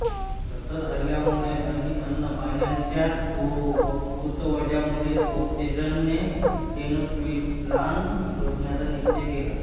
सतत हल्ल्यामुळे आणि अन्नपाण्याच्या तुटवड्यामुळे कोर्तेझने टेनोच्टिट्लान सोडण्याचा निश्चय केला